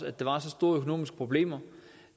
at der var så store økonomiske problemer